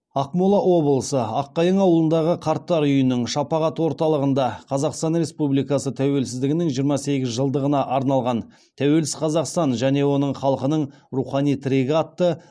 ақмола облысы аққайың ауылындағы қарттар үйінің шапағат орталығында қазақстан республикасы тәуелсіздігінің жиырма сегіз жылдығына арналған тәуелсіз қазақстан және оның халқының рухани тірегі атты